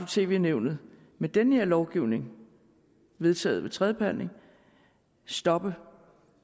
tv nævnet med den her lovgivning vedtaget ved tredje behandling stoppe